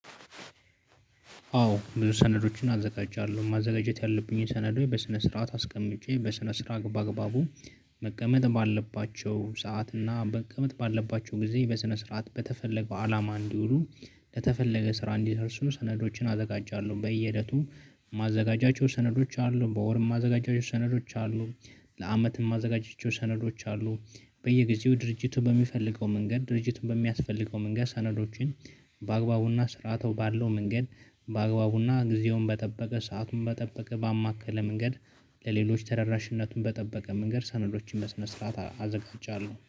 አዎ ብዙ ሰነዶችን አዘጋጃለሁ ማዘጋጀት ያለብኝን ሰነዶች በስነ ስርዓት አስቀምጬ በስነ ስርዓት ባግባቡ መቀመጥ ባለባቸው ሰዓት እና መቀመጥ ባለባቸው ጊዜ በስነ ስርዓት በተፈለገው አላማ እንዲውሉ ለተፈለገ ስራ እንዲደርሱ ሰነዶችን አዘጋጃለሁ። በየእለቱ ማዘጋጃቸው ሰነዶች አሉ በወር ማዘጋጃቸው ሰነዶች አሉ። ለአመትም ማዘጋጃቸው ሰነዶች አሉ። በየጊዜው ድርጅቱ በሚፈልገው መንገድ ድርጅቱን በሚያስፈልገው መንገድ ሰነዶችን። በአግባቡና ስርዓቱ ባለው መንገድ። በአግባቡና ጊዜውን በጠበቀ ሰአቱን በጠበቀ ባማከለ መንገድ። ለሌሎች ተደራሽነቱን በጠበቀ መንገድ ሰነዶችን በስነ ስርዓት አዘጋጃለሁ